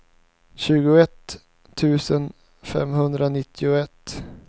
tjugoett tusen femhundranittioett